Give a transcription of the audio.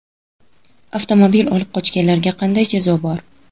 Avtomobil olib qochganlarga qanday jazo bor?.